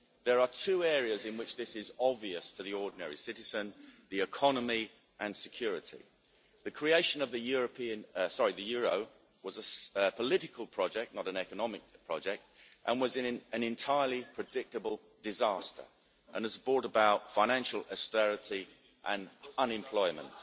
There are two areas in which this is obvious to the ordinary citizen the economy and security. The creation of the euro was a political project, not an economic project, and was an entirely predictable disaster and has brought about financial austerity and unemployment.